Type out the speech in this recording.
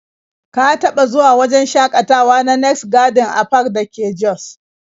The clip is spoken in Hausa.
Ka taɓa zuwa wajen shakatawa na next garden and park da ke jos?